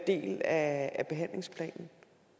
del af af behandlingsplanen